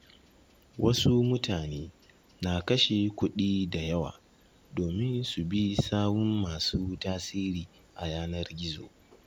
Wasu mutane na kashe kuɗi da yawa domin su bi sawun masu tasiri a yanar gizo.